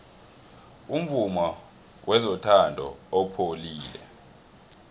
umvumo wezothando upholile